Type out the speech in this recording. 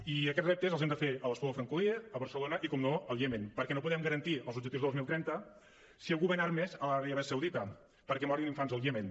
i aquests reptes els hem de fer a l’espluga de francolí a barcelona i per descomptat al iemen perquè no podem garantir els objectius de dos mil trenta si algú ven armes a l’aràbia saudita perquè morin infants al iemen